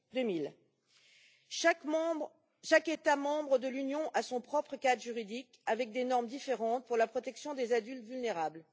2000. Chaque État membre de l'Union a son propre cadre juridique avec des normes différentes pour la protection des adultes vulnérables.